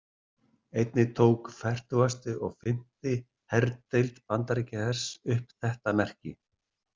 Einnig tók fertugasti og fimmti herdeild Bandaríkjahers upp þetta merki.